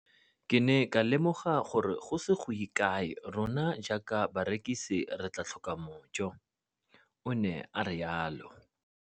Ke ne ka lemoga gore go ise go ye kae rona jaaka barekise re tla tlhoka mojo, o ne a re jalo.